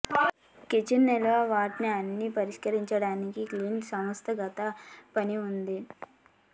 kitchen నిల్వ వాటిని అన్ని పరిష్కరించడానికి క్లిష్ట సంస్థాగత పని ఉంటుంది